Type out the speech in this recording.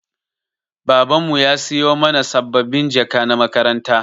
Baban mu ya siyo mana sabbabin jaka na makaranta.